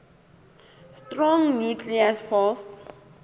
strong nuclear force